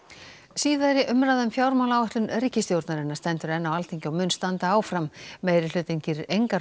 síðari umræða um fjármálaáætlun ríkisstjórnarinnar stendur enn á Alþingi og mun standa áfram meirihlutinn gerir engar